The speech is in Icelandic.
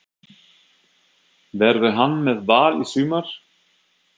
Verður hann með Val í sumar?